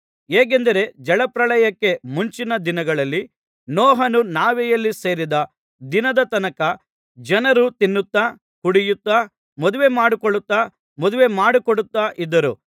ಹೇಗೆಂದರೆ ಜಲಪ್ರಳಯಕ್ಕೆ ಮುಂಚಿನ ದಿನಗಳಲ್ಲಿ ನೋಹನು ನಾವೆಯಲ್ಲಿ ಸೇರಿದ ದಿನದ ತನಕ ಜನರು ತಿನ್ನುತ್ತಾ ಕುಡಿಯುತ್ತಾ ಮದುವೆಮಾಡಿಕೊಳ್ಳುತ್ತಾ ಮದುವೆಮಾಡಿಕೊಡುತ್ತಾ ಇದ್ದರು